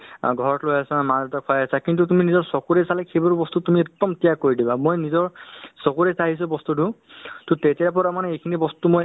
কিয়নো মানুহে ব্যস্ততাৰ মাজত মানে নিজৰ শৰীৰক অলপ সময় দিও বুলি নাভাবে মানে অহ্ ধৰক অহ্ ৰাতিপুৱা উঠি বোলে পানী গিলাচ খাও বা ধৰক অলপ অ ৰাতিপুৱা হ'লে কেতিয়াবা খোজকাঢ়িব যাও